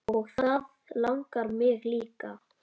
Og það langar mig líka.